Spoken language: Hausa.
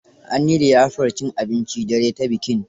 An yi liyafar cin abincin dare ta bikin.